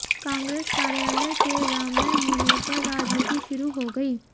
कांग्रेस कार्यालय के राममय होने पर राजनीति शुरू हो गई